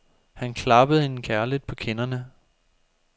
Han klappede hende kærligt på kinderne.